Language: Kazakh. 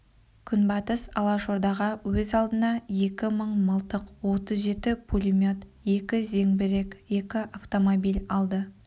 күнбатыс алашордаға өз алдына екі мың мылтық отыз жеті пулемет екі зеңбірек екі автомобиль алды